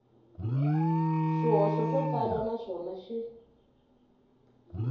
swihoxo swo tala naswona xi